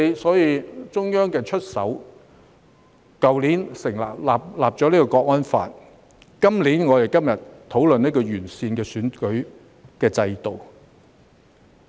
所以，中央便出手，在去年制定《香港國安法》，今年再提出我們今天討論的完善選舉制度。